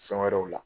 Fɛn wɛrɛw la